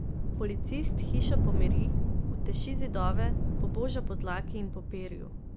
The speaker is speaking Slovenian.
Policist hišo pomiri, uteši zidove, poboža po dlaki in po perju.